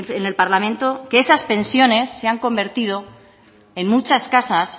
en el parlamento que esas pensiones se han convertido en muchas casas